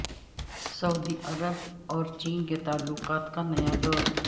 سعودی عرب اور چین کے تعلقات کا نیا دور